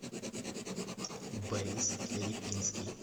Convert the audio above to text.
борис липинский